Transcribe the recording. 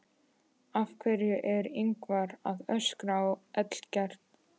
Af hverju er Ingvar að öskra á Ellert?